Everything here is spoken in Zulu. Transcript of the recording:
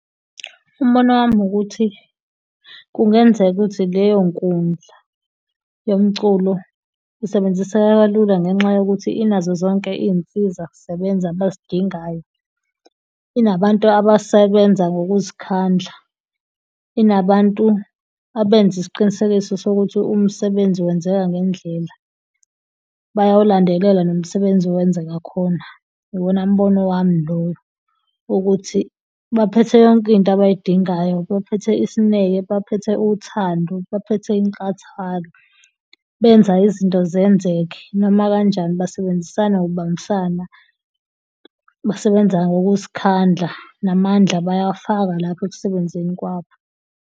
Umbono wami ukuthi kungenzeka ukuthi leyo nkundla yomculo isebenziseka kalula ngenxa yokuthi inazo zonke iy'nsiza kusebenza abazidingayo. Inabantu abasebenza ngokuzikhandla, inabantu abenza isiqinisekiso sokuthi umsebenzi wenzeka ngendlela. Bayawulandelela nomsebenzi owenzeka khona, iwona mbono wami loyo. Ukuthi baphethe yonke into abayidingayo, baphethe isineke, baphethe uthando, baphethe inkathalo benza izinto zenzeke noma kanjani. Basebenzisana ngokubambisana basebenza ngokuzikhandla namandla bayawafaka lapho ekusebenzeni kwabo.